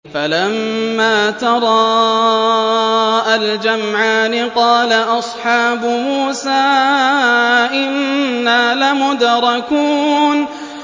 فَلَمَّا تَرَاءَى الْجَمْعَانِ قَالَ أَصْحَابُ مُوسَىٰ إِنَّا لَمُدْرَكُونَ